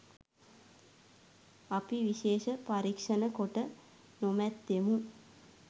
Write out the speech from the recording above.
අපි විශේෂ පරීක්‍ෂණ කොට නොමැත්තෙමු